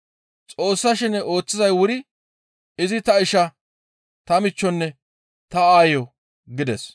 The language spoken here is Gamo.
Xoossa shene ooththizay wuri izi ta isha, ta michchonne ta aayo» gides.